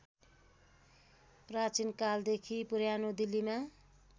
प्राचीनकालदेखि पुरानो दिल्लीमा